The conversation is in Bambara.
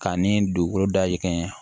K'a ni dugukolo dayɛlɛ